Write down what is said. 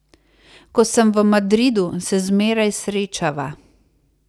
Ko sem v Madridu, se zmeraj srečava.